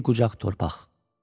Bir qucaq torpaq.